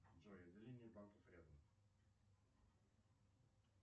джой отделения банков рядом